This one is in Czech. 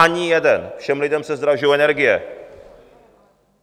Ani jeden, všem lidem se zdražují energie...